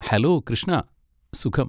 Hello, Krishna. സുഖം.